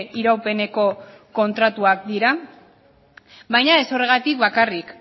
iraupeneko kontratuak dira baina ez horregatik bakarrik